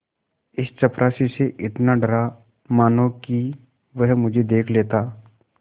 इस चपरासी से इतना डरा मानो कि वह मुझे देख लेता